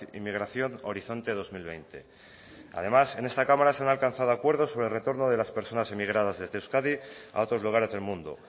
inmigración horizonte dos mil veinte además en esta cámara se han alcanzado acuerdos sobre el retorno de las personas emigradas desde euskadi a otros lugares del mundo